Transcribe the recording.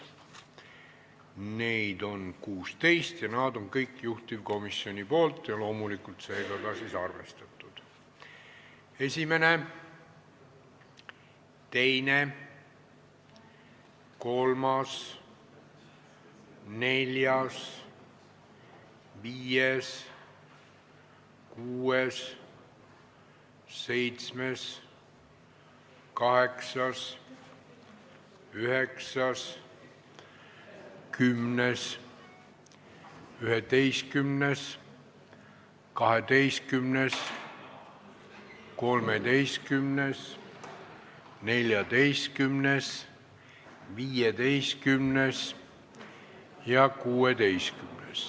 Neid on 16, nad on kõik juhtivkomisjoni esitatud ja loomulikult siis ka arvestatud: 1., 2., 3., 4., 5., 6., 7., 8., 9., 10., 11., 12., 13., 14., 15. ja 16.